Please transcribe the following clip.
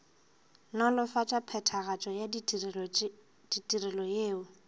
nolofatša phethagatšo ya ditirelo yeo